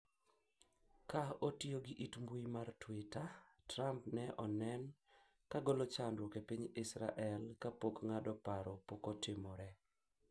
ka otiyo gi it mbui mar twitter, Trump ne onen ka golo chandruok e piny Israel, kapok ng'ado paro pokotimre